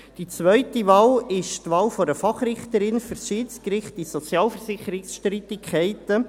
Die zweite Wahl ist die Wahl einer Fachrichterin für das Schiedsgericht in Sozialversicherungsstreitigkeiten.